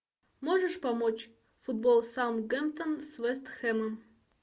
можешь помочь футбол саутгемптон с вест хэмом